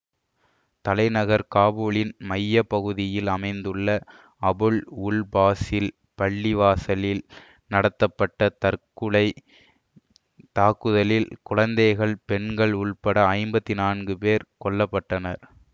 தலைநகர் காபூலின் மைய பகுதியில் அமைந்துள்ள அபுல் உல் ஃபாசில் பள்ளிவாசலில் நடத்தப்பட்ட தற்குலைத் தாக்குதலில் குழந்தைகள் பெண்கள் உட்பட ஐம்பத்தி நான்கு பேர் கொல்ல பட்டனர்